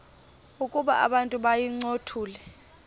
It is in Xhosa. ukuba abantu bayincothule